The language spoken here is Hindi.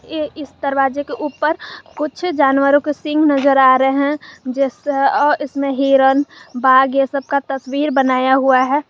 ये इस दरवाजे के ऊपर कुछ जानवरों के सिंह नजर आ रहे हैं जिस और इसमें हिरन बाघ ये सब का तस्वीर बनाया हुआ है।